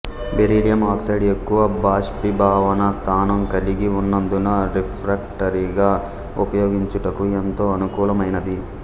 beryllium oxide ఎక్కువ బాష్పీభవన స్థానం కలిగి ఉన్నందున రిఫ్రాక్టరిగా ఉపయోగించుటకు ఎంతో అనుకూలమైనది